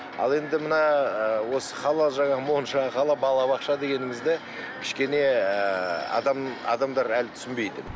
ал енді мына ы осы халал жаңағы монша халал бала бақша дегенімізді кішкене ы адам адамдар әлі түсінбейді